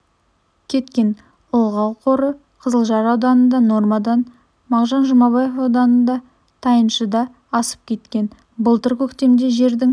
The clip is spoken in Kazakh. кеткен ылғал қоры қызылжар ауданында нормадан мағжан жұмабаев ауданында тайыншыда асып кеткен былтыр көктемде жердің